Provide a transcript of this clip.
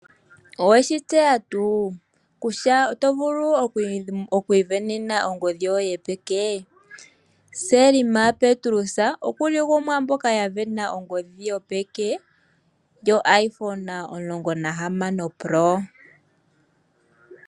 Oweshi tseya tuu kutya otovulu okwiisindanena ongodhi yoye yopeke? Selma Petrus okuli gumwe gomwaamboka yavena ongodhi yopeke yo Iphone 16 Pro.